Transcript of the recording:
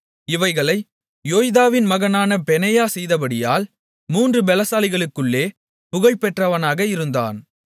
இவைகளை யோய்தாவின் மகனான பெனாயா செய்தபடியால் மூன்று பலசாலிகளுக்குள்ளே புகழ்பெற்றவனாக இருந்தான்